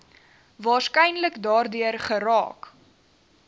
waarskynlik daardeur geraak